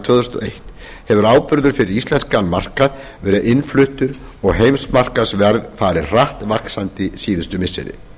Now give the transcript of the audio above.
tvö þúsund og eitt hefur áburður fyrir íslenskan markað verið innfluttur og heimsmarkaðsverð farið hratt vaxandi síðustu missiri